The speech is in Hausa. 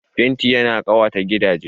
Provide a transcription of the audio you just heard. Fenti ya na ƙawata gidaje